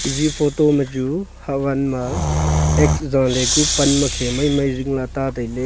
ji photo ma chu hawan ma x jaale ku pan ma khe mai mai jingla ta taile.